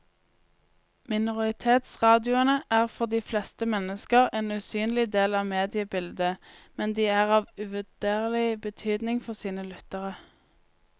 Minoritetsradioene er for de fleste mennesker en usynlig del av mediebildet, men de er av uvurderlig betydning for sine lyttere.